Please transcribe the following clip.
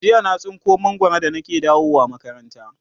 jiya na tsinko mangwaro da nake dawowa makaranta